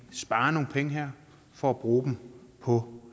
sparer nogle penge her for at bruge dem på